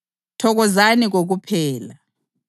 likhuleke kokuphela